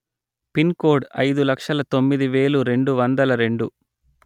pin code అయిదు లక్షల తొమ్మిది వేలు రెండు వందల రెండు